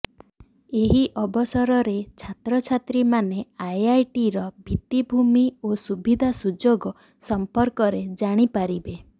ଏହି ଅବସରରେ ଛାତ୍ରଛାତ୍ରୀମାନେ ଆଇଆଇଟିର ଭିତ୍ତିଭୂମି ଓ ସୁବିଧା ସୁଯୋଗ ସମ୍ପର୍କରେ ଜାଣିପାରିବେ